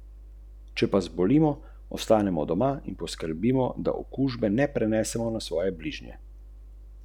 Zato da bo imel bolj horizontalno povezovalno vlogo.